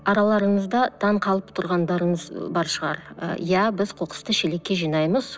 араларыңызда таңқалып тұрғандарыңыз бар шығар і иә біз қоқысты шелекке жинаймыз